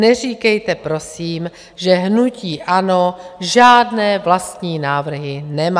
Neříkejte prosím, že hnutí ANO žádné vlastní návrhy nemá.